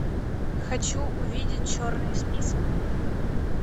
хочу увидеть черный список